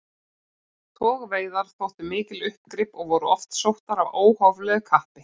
Togveiðar þóttu mikil uppgrip og voru oft sóttar af óhóflegu kappi.